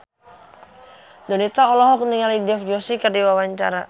Donita olohok ningali Dev Joshi keur diwawancara